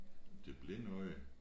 Det blinde øje